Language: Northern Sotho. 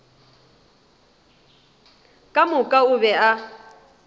ka moka o be a